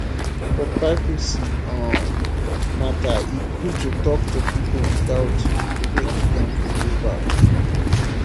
for privacy um matter e good to talk to people without making dem feel bad